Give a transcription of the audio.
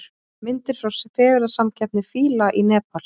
Myndir frá fegurðarsamkeppni fíla í Nepal